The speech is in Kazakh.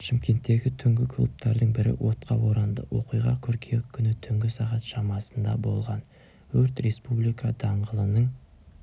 шымкенттегі түнгі клубтардың бірі отқа оранды оқиға қыркүйек күні түнгі сағат шамасында болған өрт республика даңғылының